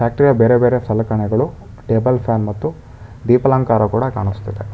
Factory ಯ ಬೇರೆ ಬೇರೆ ಸಲಕರಣೆಗಳು ಟೇಬಲ್ ಫ್ಯಾನ್ ಮತ್ತು ದೀಪಾಲಂಕಾರ ಕೂಡ ಕಾಣಿಸ್ತಿದೆ.